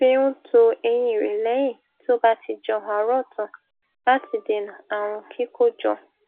fi n to eyín rẹ lẹyìn tí ó bá ti jẹun àárọ tán láti dèènà ààrùn kíkójọ